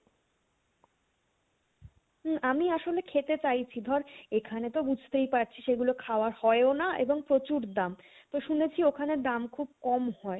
হম আমি আসলে খেতে চাই কি ধর এখানে তো বুজতেই পারছিস এগুলো খাওয়া হয়ও না এবং প্রচুর দাম তো শুনেছি ওখানে দাম খুব কম হয়